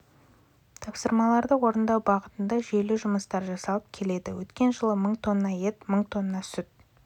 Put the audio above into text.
тапсырмаларды орындау бағытында жүйелі жұмыстар жасалып келеді өткен жылы мың тонна ет мың тонна сүт